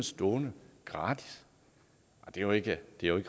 stående gratis det er jo ikke